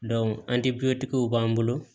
an ti b'an bolo